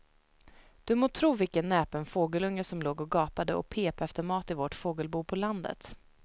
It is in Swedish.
Du må tro vilken näpen fågelunge som låg och gapade och pep efter mat i vårt fågelbo på landet.